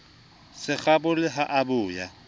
se kgabole ha a boya